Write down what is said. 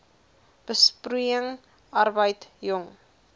besproeiing arbeid jong